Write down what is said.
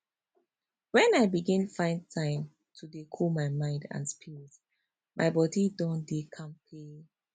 when i begin find time to dey cool my mind and spirit my body don dey kampe